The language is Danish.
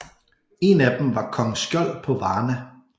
En af dem var Kong Skjold på Varna